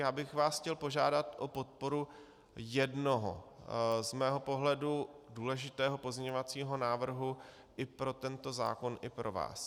Já bych vás chtěl požádat o podporu jednoho z mého pohledu důležitého pozměňovacího návrhu i pro tento zákon i pro vás.